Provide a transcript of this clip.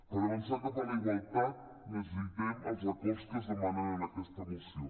per avançar cap a la igualtat necessitem els acords que es demanen en aquesta moció